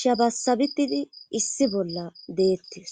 shabasabitidi issi bolla deettes